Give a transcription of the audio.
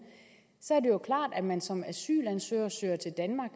er det jo klart at man som asylansøger søger til danmark